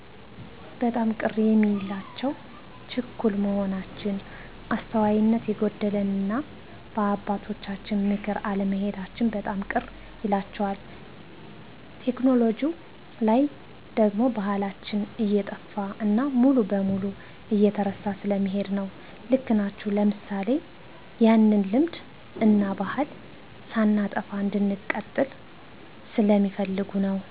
በጣም ቅር የሚላቸው ችኩል መሆናችን፣ አስተዋይነት የጎደለንና በአባቶቻችን ምክር አለመሔዳችን በጣም ቅር ይላቸዋል። ቴክኖሎጅው ላይ ደግሞ ባሕላችን እየጠፋ እና ሙሉ በሙሉ እየተረሳ ስለሚሔድ ነው። ልክ ናቸው ለምሣሌ፣ ያለንን ልምድ እናባሕል ሳናጠፋ እንድንቀጥል ስለሚፈልጉ ነው።